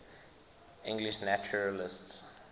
english naturalists